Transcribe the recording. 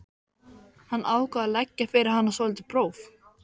Hann ákvað að leggja fyrir hana svolítið próf.